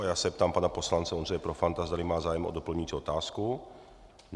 A já se ptám pana poslance Ondřeje Profanta, zdali má zájem o doplňující otázku.